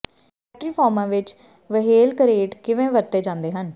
factory ਫਾਰਮਾਂ ਵਿਚ whale crate ਕਿਵੇਂ ਵਰਤੇ ਜਾਂਦੇ ਹਨ